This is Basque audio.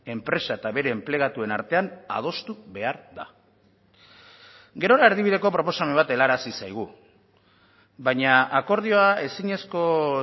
enpresa eta bere enplegatuen artean adostu behar da gerora erdibideko proposamen bat helarazi zaigu baina akordioa ezinezko